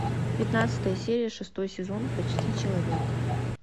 пятнадцатая серия шестой сезон почти человек